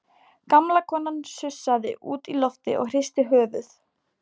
Gamla konan sussaði út í loftið og hristi höfuðið.